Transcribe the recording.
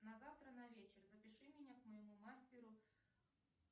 на завтра на вечер запиши меня к моему мастеру